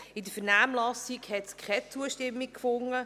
In der Vernehmlassung hat er keine Zustimmung gefunden.